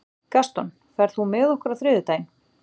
Gaston, ferð þú með okkur á þriðjudaginn?